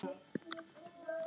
Glittir í hann.